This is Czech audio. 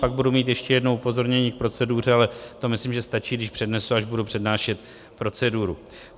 Pak budu mít ještě jedno upozornění k proceduře, ale to myslím, že stačí, když přednesu, až budu přednášet proceduru.